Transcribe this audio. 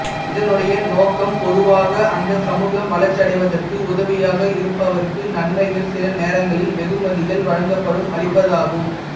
இதனுடைய நோக்கம் பொதுவாக அந்த சமூகம் வளர்ச்சியடைவதற்கு உதவியாக இருப்பவர்க்கு நன்மைகள் சில நேரங்களில் வெகுமதிகள் வழங்கப்படும் அளிப்பதாகும்